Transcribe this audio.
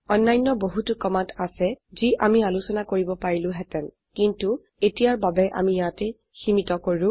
অন্যান্য বহুতু কমান্ড আছে যি আমি আলোচনা কৰিব পাৰিলো হেতেন কিন্তো এতিয়াৰ বাবে আমি ইয়াতে সীমীত কৰো